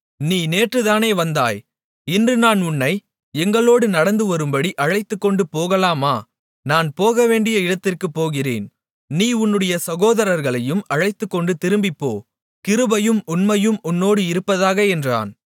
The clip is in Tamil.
நீ நேற்றுதானே வந்தாய் இன்று நான் உன்னை எங்களோடு நடந்துவரும்படி அழைத்துக்கொண்டு போகலாமா நான் போகவேண்டிய இடத்திற்குப் போகிறேன் நீ உன்னுடைய சகோதரர்களையும் அழைத்துகொண்டு திரும்பிப்போ கிருபையும் உண்மையும் உன்னோடு இருப்பதாக என்றான்